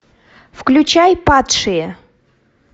включай падшие